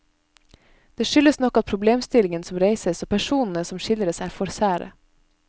Det skyldes nok at problemstillingen som reises og personene som skildres er for sære.